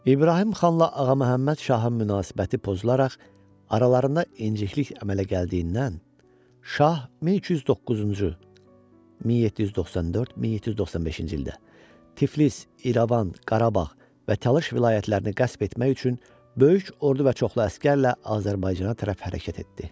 İbrahim xanla Ağa Məhəmməd Şahın münasibəti pozularaq aralarında inciklik əmələ gəldiyindən, Şah 1209-cu (1794-1795-ci ildə) Tiflis, İrəvan, Qarabağ və Talış vilayətlərini qəsb etmək üçün böyük ordu və çoxlu əsgərlə Azərbaycana tərəf hərəkət etdi.